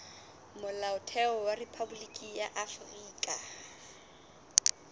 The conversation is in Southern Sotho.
molaotheo wa rephaboliki ya afrika